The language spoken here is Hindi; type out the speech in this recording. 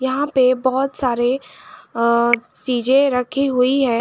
यहां पे बहोत सारे अ चीजे रखी हुई है।